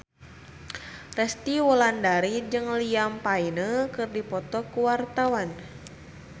Resty Wulandari jeung Liam Payne keur dipoto ku wartawan